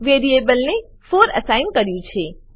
વેરીએબલને 4 અસાઇન કર્યું છે